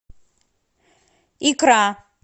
икра